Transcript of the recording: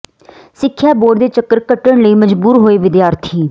ਸਿੱਖਿਆ ਬੋਰਡ ਦੇ ਚੱਕਰ ਕੱਟਣ ਲਈ ਮਜਬੂਰ ਹੋਏ ਵਿਦਿਆਰਥੀ